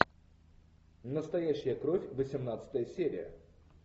настоящая кровь восемнадцатая серия